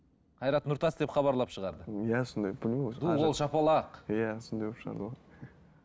қайрат нұртас деп хабарлап шығарды иә сондай білмеймін ду қол шапалақ иә сондай қылып шығарды ғой